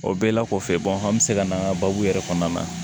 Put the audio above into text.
O bɛɛ la kɔfɛ an bɛ se ka na an ka baabu yɛrɛ kɔnɔna